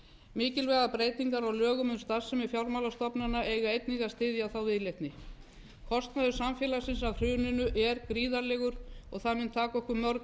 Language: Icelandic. mikilvægar breytingar á lögum um starfsemi fjármálastofnana eiga einnig að styðja þá viðleitni kostnaður samfélagsins af hruninu er gríðarlegur og það mun taka okkur mörg ár